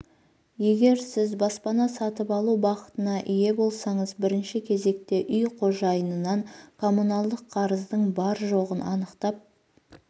егер сіз баспана сатып алу бақытына ие болсаңыз бірінші кезекте үй қожайынынан коммуналдық қарыздың бар-жоғын анықтап